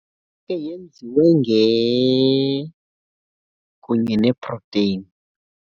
Nayo ke yenziwe nge, kunye neeproteni.